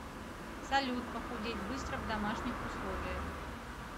салют похудеть быстро в домашних условиях